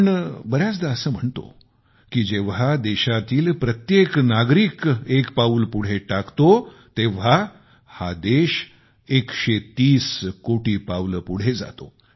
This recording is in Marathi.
आपण बऱ्याचदा असे म्हणतो की जेव्हा देशातील प्रत्येक नागरिक एक पाऊल पुढे टाकतो तेव्हा हा देश 130 कोटी पावले पुढे जातो